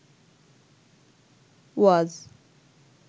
ওয়াজ